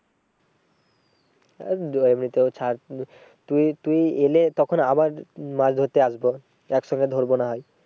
এমনিতেও ছাড় তুই তুই এলে তখন আবার মাছ ধরতে আসবো এক সঙ্গে ধরবো না হয়।